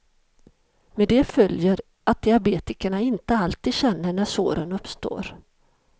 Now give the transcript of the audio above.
Med det följer att diabetikerna inte alltid känner när såren uppstår.